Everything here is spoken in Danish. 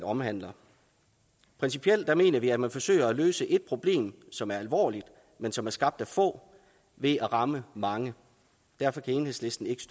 omhandler principielt mener vi at man forsøger at løse et problem som er alvorligt men som er skabt af få ved at ramme mange derfor kan enhedslisten ikke